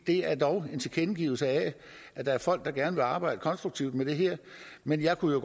det er dog en tilkendegivelse af at der er folk der gerne vil arbejde konstruktivt med det her men jeg kunne